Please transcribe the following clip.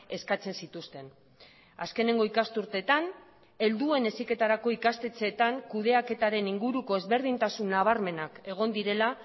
eskatzen zituzten azkeneko ikasturteetan helduen heziketarako ikastetxeetan kudeaketaren inguruko ezberdintasun nabarmenak egon direla